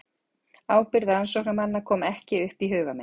Ábyrgð rannsóknarmanna kom ekki upp í huga minn.